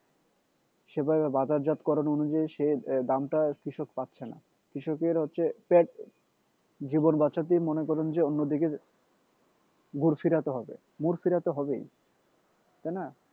সেভাবে বাজারজাতকরণ অনুযায়ী সে দামটা কৃষক পাচ্ছেনা কৃষকের হচ্ছে পেট জীবন বাঁচাতেই মনে করেন যে অন্যদিকে মুড় ফিরাতে হবে মুড় ফিরাতে হবেই তাইনা